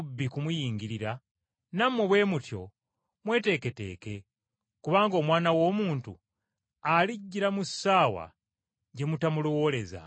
Noolwekyo nammwe bwe mutyo mweteeketeeke, kubanga Omwana w’omuntu alijjira mu kiseera kye mutamulowoolezaamu.”